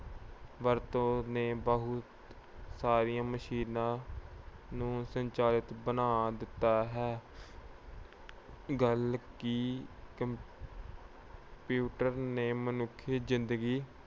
ਵਰਤੋਂ ਨੇ ਬਹੁਤ ਸਾਰੀਆਂ ਮਸ਼ੀਨਾਂ ਨੂੰ ਸੰਚਾਲਿਤ ਬਣਾ ਦਿੱਤਾ ਹੈ। ਗੱਲ ਕੀ ਕੰਪ ਊਟਰ ਨੇ ਮਨੁੱਖੀ ਜਿੰਦਗੀ